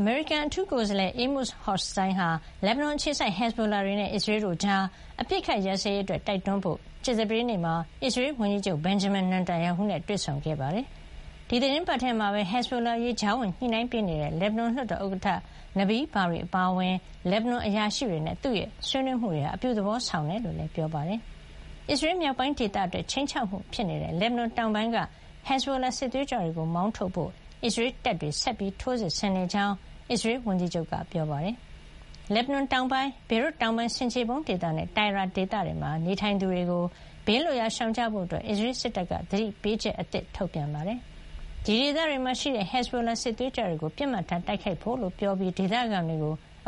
အမေရိကန် ကိုယ်စားလှယ် Amos Hochstein ဟာ လက်ဘနွန် အခြေစိုက် ဟက်ဇ်ဘိုလာတွေနဲ့ အစ္စရေးတို့ကြား အပစ်အခတ် ရပ်စဲရေးအတွက် တိုက်တွန်းဖို့ ကြာသပတေးနေ့မှာ အစ္စရေးဝန်ကြီးချုပ် Benjamin Netanyahu နဲ့ တွေ့ဆုံဖို့ရှိပါတယ်။ ဒီသီတင်းပတ်ထဲမှာပဲ ဟက်ဇ်ဘိုလာအရေး ကြားဝင်ညှိနှိုင်းပေးနေတဲ့ လက်ဘနွန်လွှတ်တော် ဥက္ကဋ္ဌ နဘီးဘာရီ - Nabih Berri အပါအဝင် လက်ဘနွန် အရာရှိတွေနဲ့ သူ့ရဲ့ ဆွေးနွေးမှုတွေဟာ အပြုသဘောဆောင်ကြောင်းလည်း ပြောပါတယ်။ အစ္စရေး မြောက်ပိုင်းဒေသအတွက် ခြိမ်းခြောက်မှု ဖြစ်နေတဲ့ လက်ဘနွန်တောင်ပိုင်းက ဟက်ဇ်ဘိုလာစစ်သွေးကြွတွေကို မောင်းထုတ်ဖို့ အစ္စရေးတပ်တွေ ဆက်လက် ထိုးစစ်ဆင် နေကြာင်း အစ္စရေးဝန်ကြီးချုပ်က ပြောပါတယ်။ လက်ဘနွန်တောင်ပိုင်း ၊ ဘေရွတ်တောင်ပိုင်း ဆင်ခြေဖုံးဒေသနဲ့ Tyre ဒေသတွေမှာ နေထိုင်သူတွေကို ဘေးလွတ်ရာ ရှောင်ကြဖို့ အစ္စရေး စစ်တပ်က သတိပေးချက် အသစ် ထုတ်ပြန်ခဲ့ပါတယ်။ ဒီဒေသတွေမှာရှိတဲ့ ဟက်ဇ်ဘိုလာ စစ်သွေးကြွတွေကို ပစ်မှတ်ထားတိုက်ခိုက်ဖို့ လို့ ပြောပြီး ဒေသခံတွေ